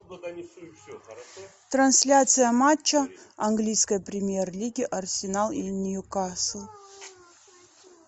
трансляция матча английской премьер лиги арсенал и ньюкасл